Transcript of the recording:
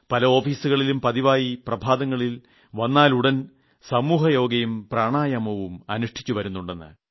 പല ഓഫീസുകളിലും പതിവായി പ്രഭാതത്തിൽ വന്നാലുടൻ സമൂഹയോഗയും പ്രണായാമവും അനുഷ്ഠിച്ചുവരുന്നുണ്ടെന്ന്